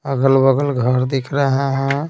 अगल-बगल घर दिख रहा है ।